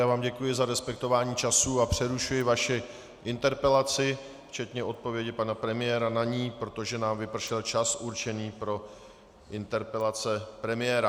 Já vám děkuji za respektování času a přerušuji vaši interpelaci včetně odpovědi pana premiéra na ni, protože nám vypršel čas určený pro interpelace premiéra.